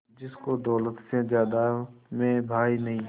जिसको दौलत से ज्यादा मैं भाई नहीं